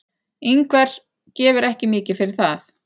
Ingvar gefur ekki mikið fyrir það.